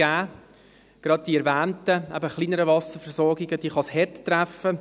Gerade die erwähnten kleineren Wasserversorgungen kann es hart treffen.